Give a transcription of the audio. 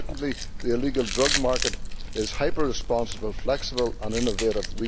Unfortunately, the illegal drug market is hyper responsive, flexible and innovative.